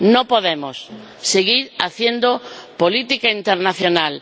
No podemos seguir haciendo política internacional.